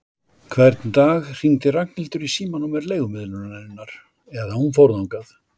Hvern dag hringdi Ragnhildur í símanúmer leigumiðlunarinnar eða hún fór þangað.